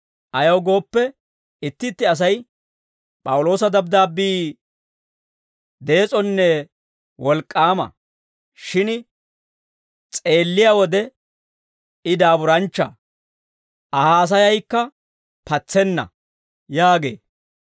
Ayaw gooppe, itti itti asay, «P'awuloosa dabddaabbii dees'onne wolk'k'aama; shin s'eelliyaa wode I daaburanchcha; Aa haasayaykka patsenna» yaagee.